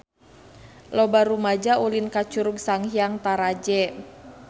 Loba rumaja ulin ka Curug Sanghyang Taraje